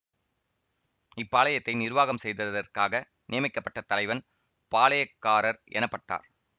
இப்பாளையத்தை நிர்வாகம் செய்ததற்காக நியமிக்கப்பட்ட தலைவன் பாளையக்காரர் எனப்பட்டார்